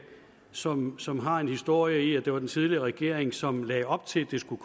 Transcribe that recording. som som har en historie i og det var den tidligere regering som lagde op til at det skulle